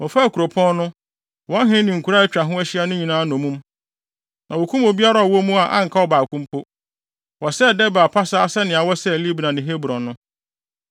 Wɔfaa kuropɔn no, wɔn hene ne nkuraa a atwa ho ahyia no nyinaa nnommum. Na wokum obiara a ɔwɔ mu a anka ɔbaako mpo. Wɔsɛee Debir pasaa sɛnea wɔsɛee Libna ne Hebron no.